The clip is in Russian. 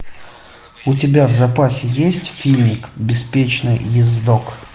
у тебя в запасе есть фильмик беспечный ездок